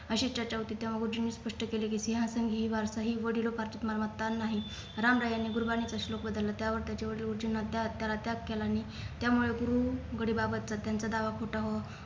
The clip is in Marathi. अशीच चर्चा होती तेव्हा गुरुजींनीं स्पष्ट केले कि सिंहासन हि वारसाही वडिलोपार्जित मालमत्ता नाही राम राय यांनी गुरबानी बदलला त्यावर त्याचे वडील गुरुजींना त्या त्या त्याग केला आनि त्यामुळे गुरु गढीबाबतचा त्यांचा दावा खोटा हो